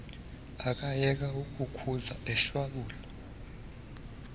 akayeka ukukhuza eshwabula